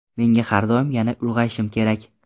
Menga har doim ‘Yana ulg‘ayishim kerak.